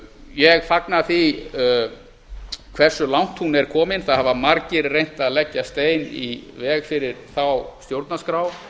ég fagna því hversu langt hún er komin margir hafa reynt að leggja stein í veg fyrir þá stjórnarskrá